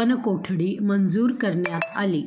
वनकोठडी मंजूर करण्यात आली